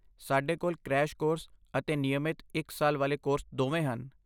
ਸਾਡੇ ਕੋਲ crash course ਅਤੇ ਨਿਯਮਤ ਇੱਕ ਸਾਲ ਵਾਲੇ ਕੋਰਸ ਦੋਵੇਂ ਹਨ।